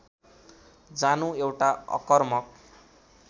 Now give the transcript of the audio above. जानु एउटा अकर्मक